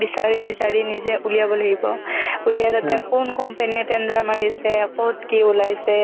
বিচাৰি বিচাৰি নিজে উলিয়াব লাগিব উলিয়াই লৈ তেওঁ কোন company tender মাৰিছে ক'ত কি ওলাইছে